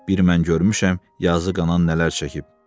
Bir mən görmüşəm yazıq anan nələr çəkib.